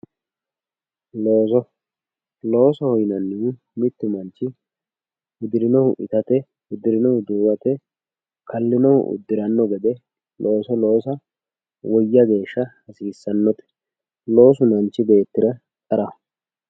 looso, loosoho yinannihu mittu manchi hudirinohu itate hudirinohu duuwate kallinohu uddiranno gede looso loosa woyya geeshsha hasiisannote ,loosu manchu beetira qaraho.